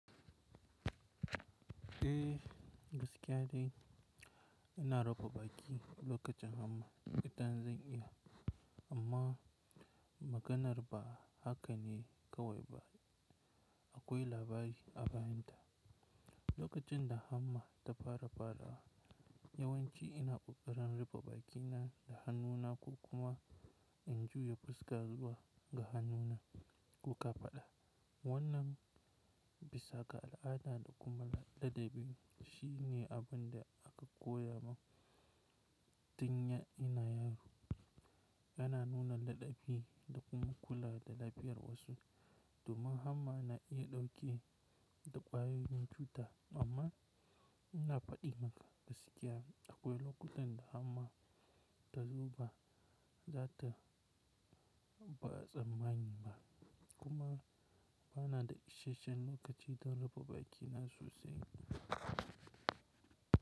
Eh gaskiya dai ina rufe baki lokacin hamma idan zan iya amma maganar ba haka ne kawai ba. Akwai labari a bayanta. Lokacin da hamma ta fara ɓadawa yawanci ina ƙoƙarin rufe bakina da hannuna ko kuma in juya fuska zuwa ga hannuna ko ƙafaɗa. Wannan bisa ga al'ada da kuma ladabi shine abin da aka koya mun tun ina yaro. Yana nuna ladabi da kuma kula da lafiyar wasu, kuma hamma na iya ɗauke da ƙwayoyin cuta. Amma ina faɗi maka gaskiya akwai lokutan da hamma talzo ba za ta ba tsanmani ba kuma ba na da ishien lokacin don rufe bakina sosai.